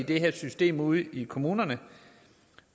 det her system ude i kommunerne